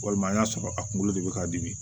Walima n y'a sɔrɔ a kunkolo de be ka dimi